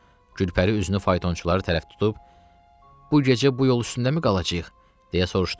Gülpəri üzünü faytonçulara tərəf tutub, bu gecə bu yol üstündəmi qalacağıq, deyə soruşduqda,